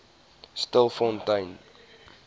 stilfontein